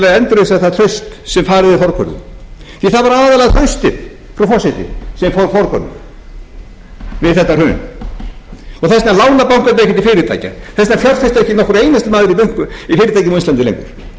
endurreisa það traust sem farið var forgörðum því að það var aðallega traustið frú forseti þess vegna lána bankarnir ekki til fyrirtækja enda fjárfestir ekki nokkur einasti maður í fyrirtækjum á íslandi lengur vegna þess að traustið fór og